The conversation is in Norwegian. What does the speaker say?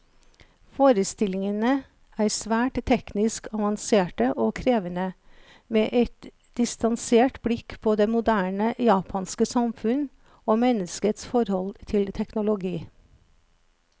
Forestillingene er svært teknisk avanserte og krevende, med et distansert blikk på det moderne japanske samfunnet, og menneskets forhold til teknologi.